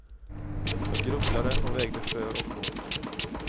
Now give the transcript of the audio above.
Jag grubblade och vägde för och emot.